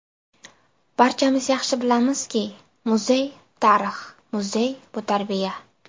Barchamiz yaxshi bilamizki, muzey - tarix, muzey bu - tarbiya.